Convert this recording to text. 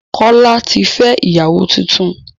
Kọ́lá tí fẹ́ ìyàwó tuntun